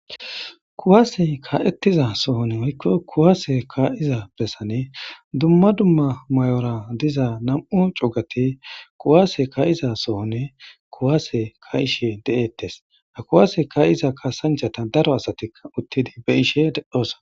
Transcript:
Kuwaase ka7ettiza sohon woykko kuwaase ka7iza bessane dumma dumma may7ora diza nam7u cugati kuwaase ka7iza sohonne kuwaase ka ishe de7ettes a kuwaase ka7iza kaasanchata daro asatia uttidi be ishe deddhoosa